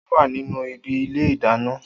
O wa ninu ibi ile ìdáná.